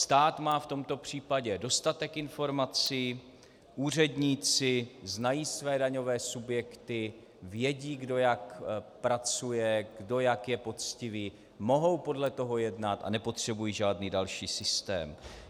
Stát má v tomto případě dostatek informací, úředníci znají své daňové subjekty, vědí, kdo jak pracuje, kdo jak je poctivý, mohou podle toho jednat a nepotřebují žádný další systém.